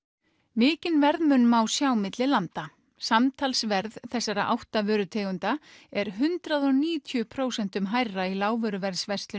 mikinn verðmun má sjá milli landa samtals verð þessara átta vörutegunda er hundrað og níutíu prósentum hærra í lágvöruverðsverslun